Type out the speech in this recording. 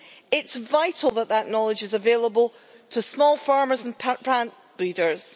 It's vital that that knowledge is available to small farmers and plant breeders.